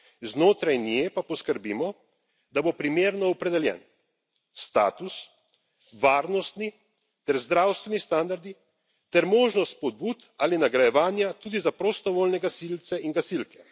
Znotraj nje pa poskrbimo, da bodo primerno opredeljeni status, varnostni ter zdravstveni standardi ter možnost spodbud ali nagrajevanja tudi za prostovoljne gasilce in gasilke.